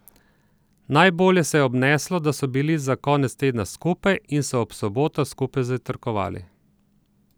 Najbolje se je obneslo, da so bili za konec tedna skupaj in so ob sobotah skupaj zajtrkovali.